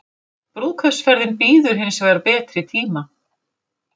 Brúðkaupsferðin bíður hins vegar betri tíma